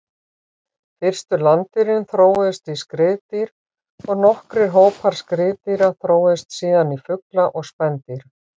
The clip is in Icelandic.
Fyrstu landdýrin þróuðust í skriðdýr og nokkrir hópar skriðdýra þróuðust síðan í fugla og spendýr.